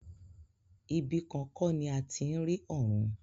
Ibi kan kọ́ ni a ti ń rí ọ̀run.